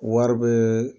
Wari bɛ